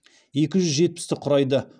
екі жүз жетпісті құрайды